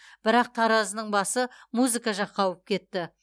бірақ таразының басы музыка жаққа ауып кетті